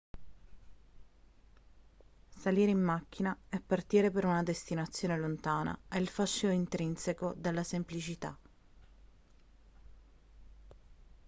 salire in macchina e partire per una destinazione lontana ha il fascino intrinseco della semplicità